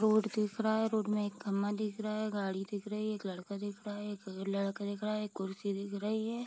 Road दिख रहा है रोड में एक खम्बा दिख रहा है गाड़ी दिख रही है एक लड़का दिख रहा है एक लड़का दिख रहा है एक कुर्सी दिख रही है।